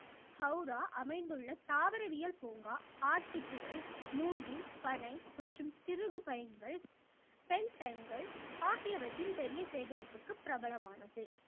ஹௌரா அமைந்துள்ள தாவரவியல் பூங்கா ஆர்க்கித்துகள் மூங்கில் பனை மற்றும் சிறுகுப் பயன்கள் பெண் டைன்கள் ஆகியவற்றின் பெரிய சேகரிப்புக்கு பிரபலமானது